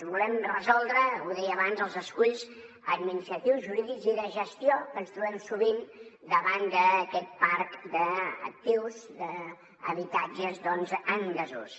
volem resoldre ho deia abans els esculls administratius jurídics i de gestió que ens trobem sovint davant d’aquest parc d’actius d’habitatges doncs en desús